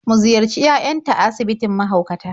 Mu ziyarci yayanta a asibitin mahaukata.